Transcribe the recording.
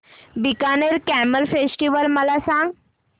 Bikaner camel festival मला सांग